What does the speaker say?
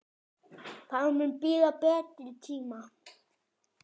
Það mun bíða betri tíma.